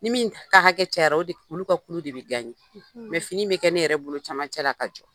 Ni min ka hakɛ cayara o de olu ka kulu de be . fini be kɛ ne yɛrɛ bolo camancɛla ka jɔ.